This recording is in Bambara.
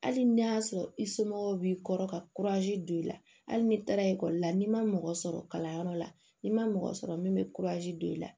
Hali n'a y'a sɔrɔ i somɔgɔw b'i kɔrɔ ka don i la hali n'i taara ekɔli la n'i ma mɔgɔ sɔrɔ kalanyɔrɔ la n'i ma mɔgɔ sɔrɔ min bɛ don i la